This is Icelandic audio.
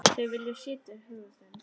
Þau vilja sitja á þeim.